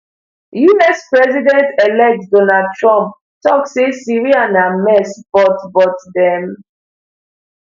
us presidentelect donald trump tok say syria na mess but but dem